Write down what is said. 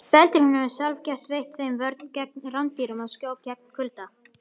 Feldurinn hefur sjálfsagt veitt þeim vörn gegn rándýrum og skjól gegn kulda.